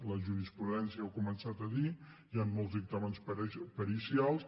la jurisprudència ho ha començat a dir hi han molts dictàmens pericials